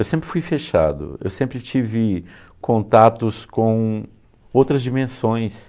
Eu sempre fui fechado, eu sempre tive contatos com outras dimensões.